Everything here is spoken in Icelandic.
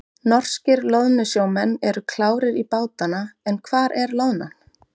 Norskir loðnusjómenn eru klárir í bátana en hvar er loðnan?